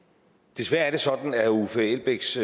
desværre er det sådan at herre uffe elbæks